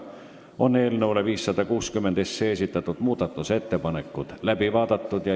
Eelnõu 560 kohta esitatud muudatusettepanekud on läbi vaadatud.